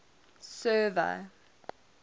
server